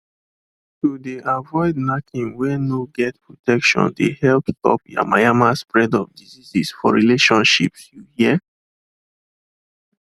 to de avoid knacking were no get protection de help stop yamayama spread of diseases for relationships you hear